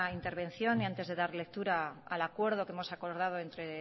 intervención y antes de dar lectura al acuerdo que hemos acordado entre